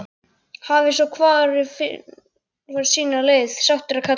Hafi svo hvor farið sína leið, sáttur að kalla.